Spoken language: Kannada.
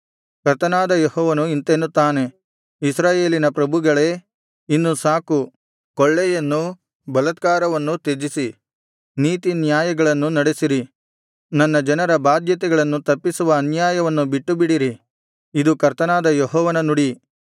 ಕರ್ತನಾದ ಯೆಹೋವನು ಇಂತೆನ್ನುತ್ತಾನೆ ಇಸ್ರಾಯೇಲಿನ ಪ್ರಭುಗಳೇ ಇನ್ನು ಸಾಕು ಕೊಳ್ಳೆಯನ್ನೂ ಬಲಾತ್ಕಾರವನ್ನೂ ತ್ಯಜಿಸಿ ನೀತಿನ್ಯಾಯಗಳನ್ನು ನಡೆಸಿರಿ ನನ್ನ ಜನರ ಬಾಧ್ಯತೆಗಳನ್ನು ತಪ್ಪಿಸುವ ಅನ್ಯಾಯವನ್ನು ಬಿಟ್ಟುಬಿಡಿರಿ ಇದು ಕರ್ತನಾದ ಯೆಹೋವನ ನುಡಿ